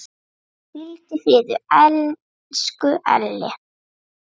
Hvíldu í friði, elsku Elli.